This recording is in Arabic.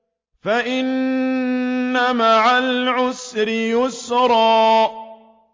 فَإِنَّ مَعَ الْعُسْرِ يُسْرًا